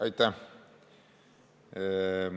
Aitäh!